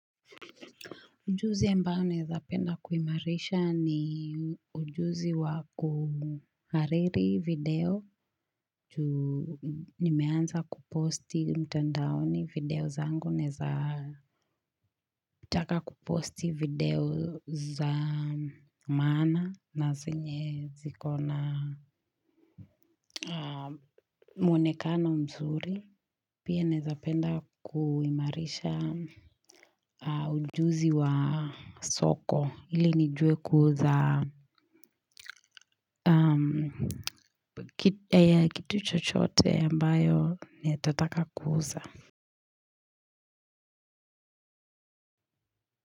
Ujuzi ambao naeza penda kuimarisha ni ujuzi wa kuhariri video, nimeanza kuposti mtandaoni video zangu, naeza taka kuposti video za maana na zenye zikona mwonekano mzuri. Pia naezapenda kuimarisha ujuzi wa soko ili nijue kuuza ya kitu chochote ambayo nitataka kuuza.